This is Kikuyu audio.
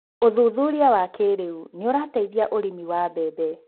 ũthuthuria wa kĩrĩu ni ũrateithia ũrĩmi wa mbembe